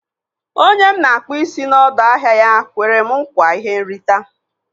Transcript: Onye m na-akpụ isi n'ọdọ ahịa ya kwere m nkwa ihe nrita.